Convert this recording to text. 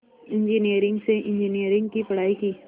engineering से engineering की पढ़ाई की